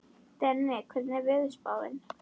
Denni, hvernig er veðurspáin?